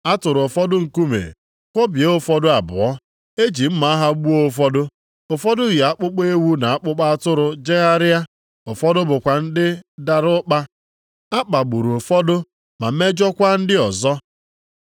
A tụrụ ụfọdụ nkume, kwọbie ụfọdụ abụọ. E ji mma agha gbuo ụfọdụ. Ụfọdụ yi akpụkpọ ewu na akpụkpọ atụrụ jegharịa. Ụfọdụ bụkwa ndị dara ụkpa. A kpagburu ụfọdụ, ma mejọọkwa ndị ọzọ.